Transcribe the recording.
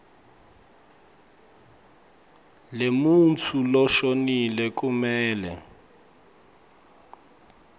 lemuntfu loshonile kumele